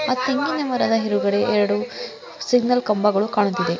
ಆ ತೆಂಗಿನ ಮರದ ಎದುರುಗಡೆ ಎರಡು ಸಿಗ್ನಲ್ ಕಂಬಗಳು ಕಾಣುತ್ತಿದೆ.